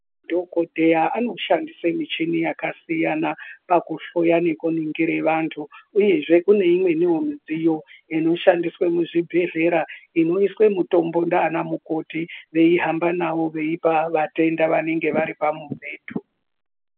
Dhokodheya anoshandisa michina yakasiyana pakuhloya vantu yekuningura vantu kune imweni midziyo inoshandiswa mezvibhedhlera inoiswa mutombo nana mukoti veihamba nayo veipa vatenda vanenge vari pamubhedhu.